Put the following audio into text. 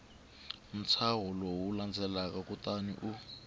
ntshaho lowu landzelaka kutani u